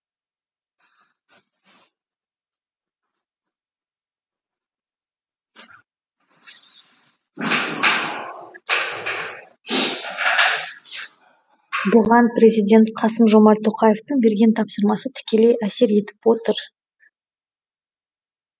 бұған президент қасым жомарт тоқаевтың берген тапсырмасы тікелей әсер етіп отыр